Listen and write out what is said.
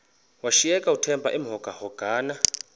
washiyeka uthemba emhokamhokana